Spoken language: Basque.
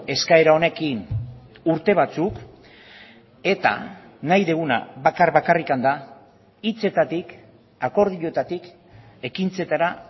eskaera honekin urte batzuk eta nahi duguna bakar bakarrik da hitzetatik akordioetatik ekintzetara